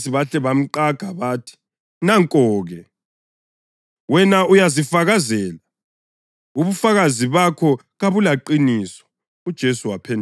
AbaFarisi bahle bamqaga bathi, “Nanko-ke, wena uyazifakazela; ubufakazi bakho kabulaqiniso.”